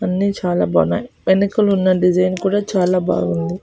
అన్ని చాలా బాగున్నాయి వెనకుల ఉన్న డిజైన్ కూడా చాలా బావుంది .